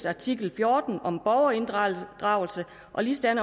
artikel fjorten om borgerinddragelse og ligesådan